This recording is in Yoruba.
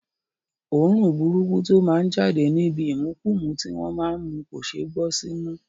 Òórùn burúkú tó má ń jáde níbi ìmukúmu tí wọ́n má ń mu kò ṣeé gbọ́ símú